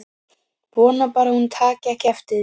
Vona bara að hún taki ekki eftir því.